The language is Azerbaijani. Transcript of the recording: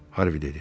Harvi dedi.